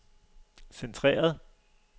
centreret